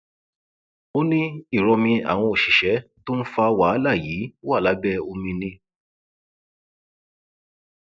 ó ní ìrọmí àwọn òṣìṣẹ tó ń fa wàhálà yìí wà lábẹ omi ni